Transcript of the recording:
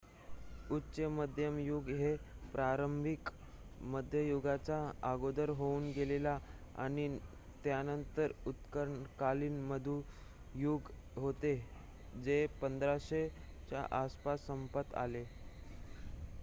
उच्च मध्यम युग हे प्रारंभिक मध्ययुगाच्या अगोदर होऊन गेले आणि त्यानंतर उत्तरकालीन मध्ययुग होते जे 1500 च्या आसपास समाप्त झाले